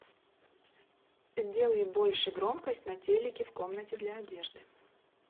сделай больше громкость на телике в комнате для одежды